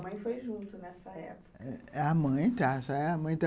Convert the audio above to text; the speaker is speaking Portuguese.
A sua mãe foi junto nessa época? A mãe